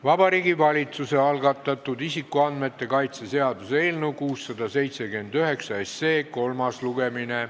Vabariigi Valitsuse algatatud isikuandmete kaitse seaduse eelnõu 679 kolmas lugemine.